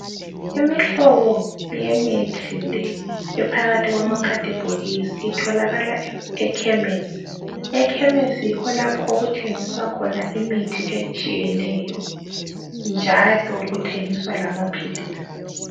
Imihlobo yemithi le ephakathi kwamakhathibhokisi itholakala ekhemesi. Ekhemesi yikho lapho okuthengiswa khona imithi etshiyeneyo njalo kuthengiswa lamaphilisi.